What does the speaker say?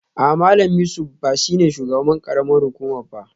A'a Malam Yusuf ba shi ne shugaban karamar hukuma ba